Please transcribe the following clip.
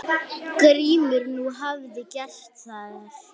GRÍMUR: Nú, hvað gerðu þeir?